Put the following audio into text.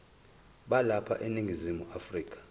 balapha eningizimu afrika